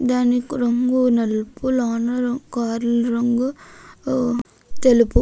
దాని కార్ల రంగు తెలుపు.